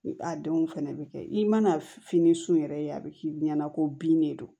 A denw fɛnɛ bɛ kɛ i mana fini sun yɛrɛ ye a bɛ k'i ɲɛna ko bin de don